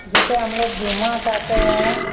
जिसे हम लोग जुम्मा कहते हैं।